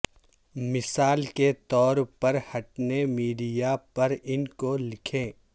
مثال کے طور پر ہٹنے میڈیا پر ان کو لکھیں